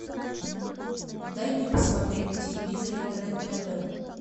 дай мне посмотреть на телевизоре рен тв